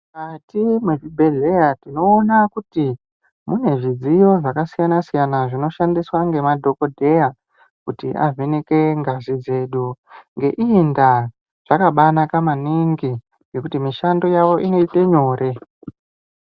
Mukati mwezvibhedhlera tinona kuti mune zvidziyo zvakasiyana siyana zvinoshandiswa ngemadhokodheya kuvheneke ngazi dzedu. Ngendaa iyi zvakabaanaka kwemene ngekuti mishando yavo inoite nyore.